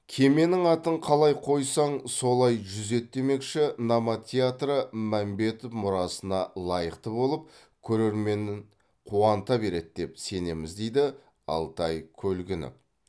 кеменің атын қалаи қоисаң солаи жүзеді демекші номад театры мәмбетов мұрасына лаиықты болып көрерменін қуанта береді деп сенеміз дейді алтай көлгінов